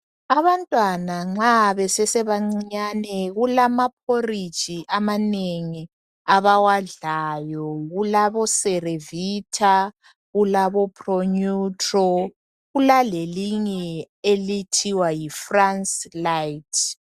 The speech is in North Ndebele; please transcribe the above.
Abantwana nxa besesebancinyane kulamaphoriji amanengi abawadlayo. KulaboCerevita, kulaboPronutro. Kulalelinye okuthiwa yiFrance lait.